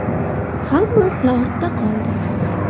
Hammasi ortda qoldi.